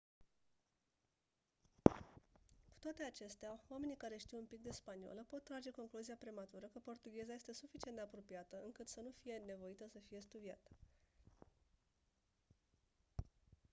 cu toate acestea oamenii care știu un pic de spaniolă pot trage concluzia prematură că portugheza este suficient de apropiată încât să nu fie nevoie să fie studiată